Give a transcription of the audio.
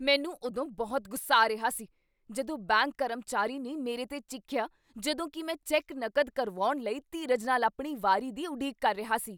ਮੈਨੂੰ ਉਦੋਂ ਬਹੁਤ ਗੁੱਸਾ ਆ ਰਿਹਾ ਸੀ ਜਦੋਂ ਬੈਂਕ ਕਰਮਚਾਰੀ ਨੇ ਮੇਰੇ 'ਤੇ ਚੀਖਿਆ ਜਦੋਂ ਕੀ ਮੈਂ ਚੈੱਕ ਨਕਦ ਕਰਵਾਉਣ ਲਈ ਧੀਰਜ ਨਾਲ ਆਪਣੀ ਵਾਰੀ ਦੀ ਉਡੀਕ ਕਰ ਰਿਹਾ ਸੀ।